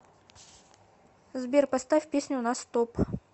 сбер поставь песню на стоп